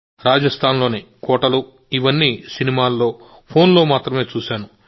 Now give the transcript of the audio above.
నేను ఈ రాజస్థాన్ లోని కోటలూ ఇవన్నీ సినిమాల్లో ఫోన్లో మాత్రమే చూశాను